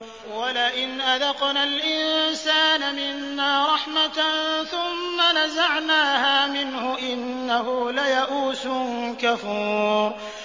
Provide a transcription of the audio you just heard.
وَلَئِنْ أَذَقْنَا الْإِنسَانَ مِنَّا رَحْمَةً ثُمَّ نَزَعْنَاهَا مِنْهُ إِنَّهُ لَيَئُوسٌ كَفُورٌ